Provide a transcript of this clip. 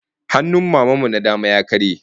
Hannun Maman mu na dama ya karye